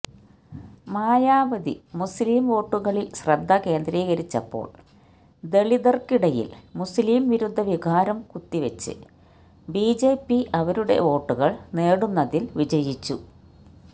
മായാവതി മുസ്ലിം വോട്ടുകളില് ശ്രദ്ധ കേന്ദ്രീകരിച്ചപ്പോള് ദലിതര്ക്കിടയില് മുസ്ലിം വിരുദ്ധ വികാരം കുത്തിവച്ച് ബിജെപി അവരുടെ വോട്ടുകള് നേടുന്നതില് വിജയിച്ചു